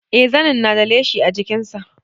Eh zanin na da leshi a jikin sa